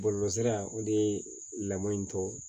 Bɔlɔlɔsira o de ye lamɔ in tɔgɔ ye